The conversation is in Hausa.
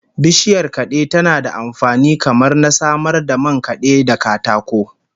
Bishiyar kade tana da amfani kamar na samar da man kade da katako